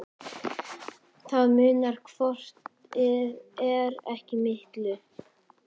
Það munar hvort eð er ekki miklu.